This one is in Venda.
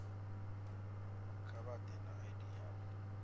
kha vha ḓe na id yavho